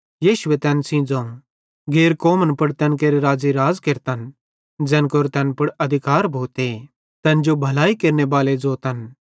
यीशु तैन सेइं ज़ोवं गैर कौमन पुड़ तैन केरे राज़े राज़ केरतन ते ज़ैन केरो तैन पुड़ अधिकारे भोते तैन जो भलाई केरनेबाले ज़ोतन